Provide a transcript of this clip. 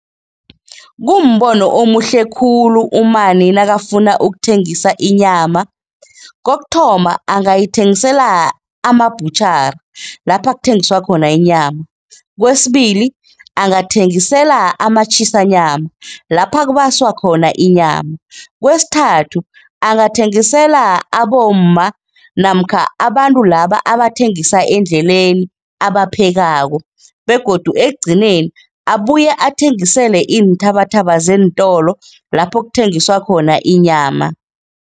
Kumbono omuhle khulu umani nakafuna ukuthengisa inyama. Kokuthoma, angayithengisela ama-butchery lapha kuthengiswa khona inyama. Kwesibili, angathengisela ama-Chisanyama lapha kubaswa khona inyama. Kwesithathu, angathengisela abomma namkha abantu laba abathengisa endleleni abaphekako begodu ekugcineni abuye athengisele iinthabathaba zeentolo lapho kuthengiswa khona inyama.